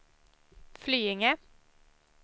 Flyinge